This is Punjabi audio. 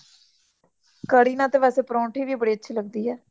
ਕੜੀ ਨਾਲ ਵੇਸੇ ਪਰੌਂਠੀ ਵੀ ਬੜੀ ਅੱਛੀ ਲੱਗਦੀ ਹੈ